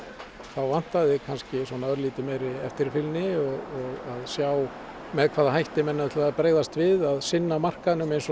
þá vantaði kannski örlítið meiri eftirfylgni og að sjá með hvaða hætti menn ætluðu að bregðast við að sinna markaðnum eins og